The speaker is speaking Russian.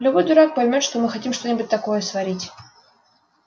любой дурак поймёт что мы хотим что-нибудь такое сварить